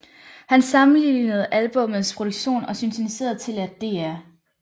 Han sammenlignede albummets produktion og syntetiserede til at Dr